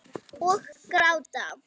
Og gráta.